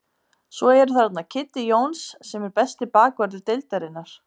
Svo eru þarna Kiddi Jóns sem er besti bakvörður deildarinnar.